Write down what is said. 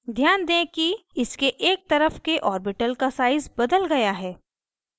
ध्यान दें कि इसके एक तरफ के orbital का size बदल गया है